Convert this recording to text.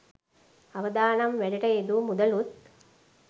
අවදානම් වැඩට යෙදූ මුදලුත්